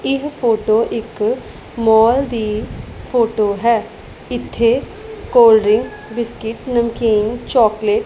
ਇਹ ਫੋਟੋ ਇੱਕ ਮਾਲ ਦੀ ਫੋਟੋ ਹੈ ਇੱਥੇ ਕੋਲਡਰਿੰਕ ਬਿਸਕੁਟ ਨਮਕੀਨ ਚੋਕਲੇਟ --